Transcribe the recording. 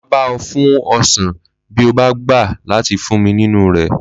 Mà á bá ọ fún ọsàn bí o bá gbà láti fún mi nínú rẹ̀